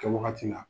Kɛwagati la